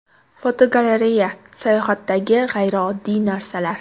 Fotogalereya: Sayohatdagi g‘ayrioddiy narsalar.